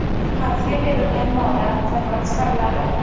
Qarzga berilgan moldan zakot chiqariladi.